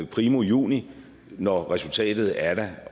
primo juni når resultatet er der